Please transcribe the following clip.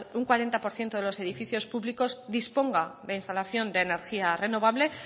un cuarenta por ciento de los edificios públicos disponga de instalación de energía renovable